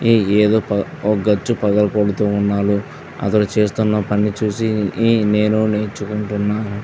ఈ ఏదో ఒక గచ్చు పగలగొడుతూ ఉన్నారు. అతను చేస్తున్న పని చూసి ఈ నేను నేర్చుకుంటున్న.